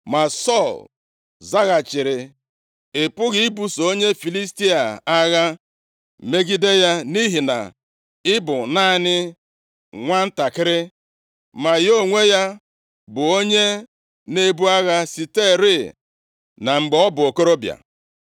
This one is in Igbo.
Ma Sọl zaghachiri, “Ị pụghị ibuso onye Filistia a agha, megide ya, nʼihi na i bụ naanị nwantakịrị, ma ya onwe ya bu onye na-ebu agha siterị na mgbe ọ bụ okorobịa.”